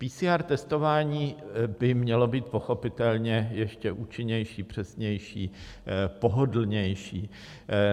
PCR testování by mělo být pochopitelně ještě účinnější, přesnější, pohodlnější.